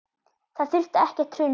Það þurfti ekkert hrun til.